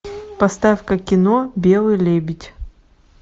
поставь ка кино белый лебедь